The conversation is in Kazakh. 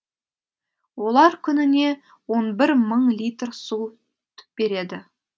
олар күніне он бір мың литр су береді